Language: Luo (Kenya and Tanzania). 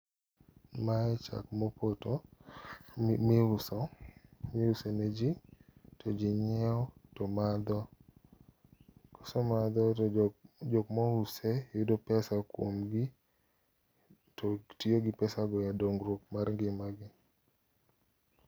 mae chak mopoto mi uso ni ji ,to ji nyiewo to madho kose madho to jok mo use yudo pesa kuom gi to tiyo gi pesa go e dongruok mar ngima gi